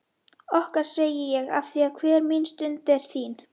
Okkar segi ég afþvíað hver mín stund er þín.